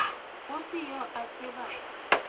go se yo a tsebago